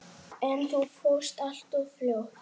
En þú fórst alltof fljótt.